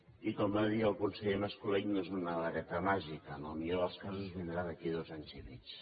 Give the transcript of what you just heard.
i com va dir el conseller mas colell no és una vareta màgica en el millor dels casos vindrà d’aquí a dos anys i mig